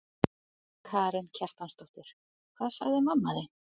Karen Kjartansdóttir: Hvað sagði mamma þín?